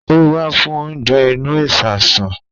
Ó wá fún oúnjẹ inú ìsasùn